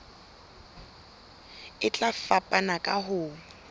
e tla fapana ka ho